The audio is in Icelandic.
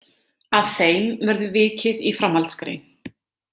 Að þeim verður vikið í framhaldsgrein.